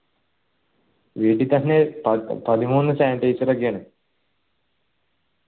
വീട്ടിത്തന്നെ പതിമൂന്ന് sanitizer ഒക്കെയാണ്